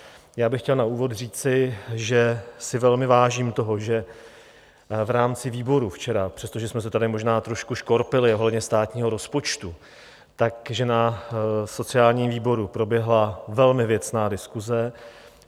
Já bych chtěl na úvod říci, že si velmi vážím toho, že v rámci výboru včera, přestože jsme se tady možná trošku škorpili ohledně státního rozpočtu, tak že na sociálním výboru proběhla velmi věcná diskuse.